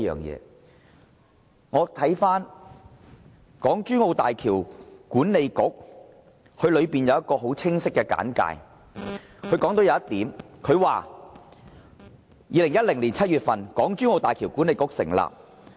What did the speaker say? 讓我們看看港珠澳大橋管理局的一個很清晰的簡介，當中提及這一點 ："2010 年7月，港珠澳大橋管理局成立。